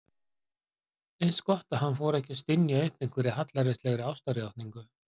Eins gott að hann fór ekki að stynja upp einhverri hallærislegri ástarjátningu.